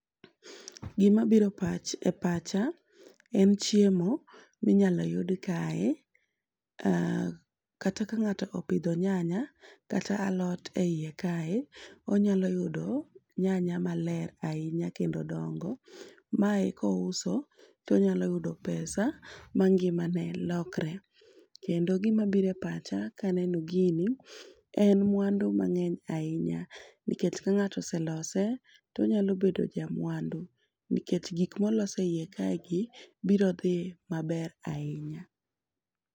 Gima bire pach e pacha en chiemo minyalo yud kae kata ka ng'ato opidho nyanya kata alot eiye kae, onyalo yudo nyanya maler ahinya kendo dongo . Mae kouso tonyalo yudo pesa ma ngima ne lokre kendo gima bire pacha kaneno gini en mwandu mang'eny ahinya nikech ka ng'ato oselose tonyalo bedo jamwandu nikech gik molos e iye kae gi biro dhi maber ahinya.